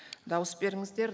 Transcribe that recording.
дауыс беріңіздер